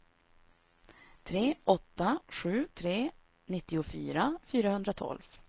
tre åtta sju tre nittiofyra fyrahundratolv